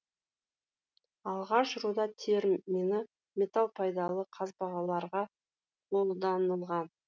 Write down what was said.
алғаш руда термині металл пайдалы қазбаларға қолданылған